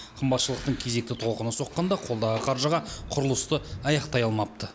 қымбатшылықтың кезекті толқыны соққанда қолдағы қаржыға құрылысты аяқтай алмапты